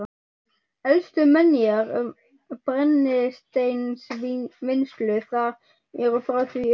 Elstu menjar um brennisteinsvinnslu þar eru frá því um